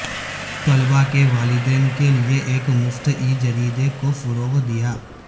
طلبا کے والدین کے لیے ایک مفت ای جریدے کو فروغ دیا